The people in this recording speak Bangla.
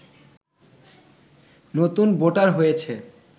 নতুন ভোটার হয়েছে